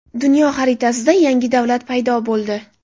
Dunyo xaritasida yangi davlat paydo bo‘ldi.